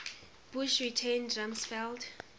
bush retained rumsfeld